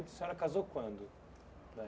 A senhora casou quando?